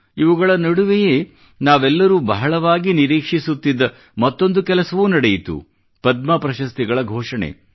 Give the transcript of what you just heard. ಇವುಗಳ ನಡುವೆಯೇ ನಾವೆಲ್ಲರೂ ಬಹಳವಾಗಿ ನಿರೀಕ್ಷಿಸುತ್ತಿದ್ದ ಮತ್ತೊಂದು ಕೆಲಸವೂ ನಡೆಯಿತು ಅದೆಂದರೆ ಪದ್ಮ ಪ್ರಶಸ್ತಿಗಳ ಘೋಷಣೆ